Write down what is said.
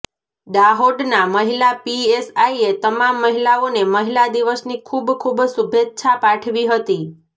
દાહોદના મહિલા પીએસઆઈએ તમામ મહિલાઓને મહિલા દિવસની ખૂબ ખૂબ શુભેચ્છા પાઠવી હતી